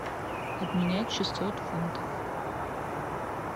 обменять шестьсот фунтов